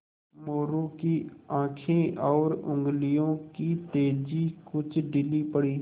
मोरू की आँखें और उंगलियों की तेज़ी कुछ ढीली पड़ी